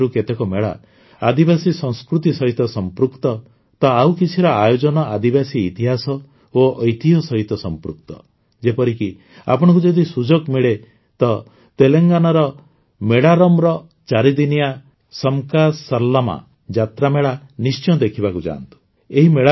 ଏଥିମଧ୍ୟରୁ କେତେକ ମେଳା ଆଦିବାସୀ ସଂସ୍କୃତି ସହିତ ସଂପୃକ୍ତ ତ ଆଉ କିଛିର ଆୟୋଜନ ଆଦିବାସୀ ଇତିହାସ ଓ ଐତିହ୍ୟ ସହିତ ସଂପୃକ୍ତ ଯେପରିକି ଆପଣଙ୍କୁ ଯଦି ସୁଯୋଗ ମିଳେ ତ ତେଲଙ୍ଗାନାର ମେଡାରମର ଚାରିଦିନିଆ ସମକ୍କାସରଲମ୍ମା ଯାତ୍ରାମେଳା ନିଶ୍ଚୟ ଦେଖିବାକୁ ଯାଆନ୍ତୁ